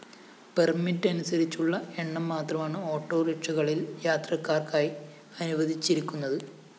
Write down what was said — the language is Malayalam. പെർമിറ്റ്‌ അനുസരിച്ചുള്ള എണ്ണം മാത്രമാണ് ഓട്ടോറിക്ഷകളില്‍ യാത്രക്കാര്‍ക്കായി അനുവദിച്ചിരിക്കുന്നത്